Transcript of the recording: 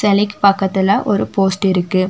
சிலைக்கு பக்கத்துல ஒரு போஸ்ட் இருக்கு.